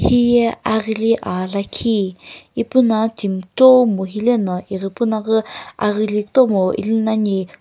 hiye aghili aa lakhi ipuno timi kutomo hilena ighipuna ghü aghili kutomo ili nani.